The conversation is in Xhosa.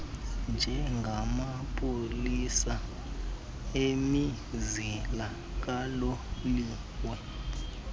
njengamapolisa emizila kaloliwe